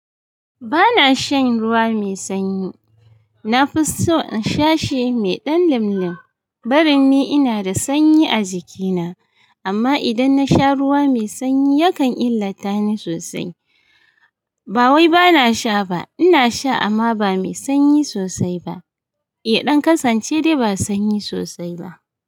Ba na shan ruwa mai sanyi. Na fi so in sha shi mai ɗan limlim. Barin ni ina da sanyi a jikina, amma idan na sha ruwa mai sanyi yakan illata ni sosai. Ba wai ba na sha ba. Ina sha amma ba mai sanyi sosai ba. Ya ɗan kasance da ba sanyi sosai ba.